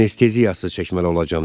Anesteziyasız çəkməli olacağam